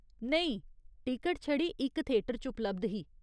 नेईं, टिकट छड़ी इक थेटर च उपलब्ध ही।